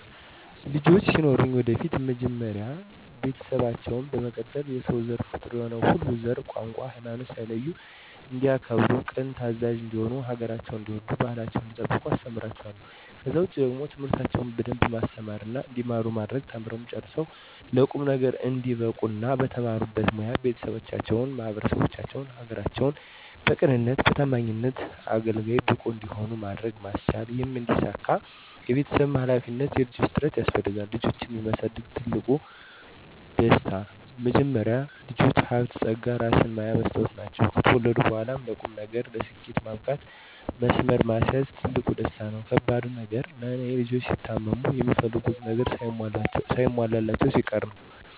ልጆች ሲኖሩኝ ወደፊት መጀመሪያ ቤተሰባቸውን፣ በመቀጠልም የሰው ዘር ፍጡር የሆነ ሁሉ ዘር፣ ቋንቋ፣ ሀይማኖት ሳይለዩ እንዲያከብሩ ቅን ታዛዥ እንዲሆኑ ሀገራቸውን እንዲወዱ ባህላቸውን እንዲጠብቁ አስተምራቸዋለሁ። ከዛ ውጪ ደግሞ ትምህርታቸውን በደንብ ማስተማርና እንዲማሩ ማድረግ ተምረው ጨርሰው ለቁም ነገር እንዲበቁ እና በተማሩበት ሞያ ቤተሰባቸውን፣ ማህበረሰባቸውን፣ ሀገራቸውን በቅንነትና በታማኝነት አገልጋይ፣ ብቁ እንዲሆኑ ማድረግ ማስቻል ይህም እንዲሳካ የቤተሰብም ሀላፊነት የልጆችም ጥረት ያስፈልጋል። ልጆችን የማሳደግ ትልቁ ደስ፦ መጀመሪያ ልጆች ሀብት ፀጋ እራስን ማያ መስታወት ናቸው። ከተወለዱ በኋላም ለቁም ነገር፣ ለስኬት ማብቃትም መስመር ማስያዝም ትልቁ ደስታ ነው። ከባዱ ነገር ለኔ፦ ልጆች ሲታመሙ፣ የሚፈልጉትን ነገር ሳይሟላላቸው ሲቀር ነው።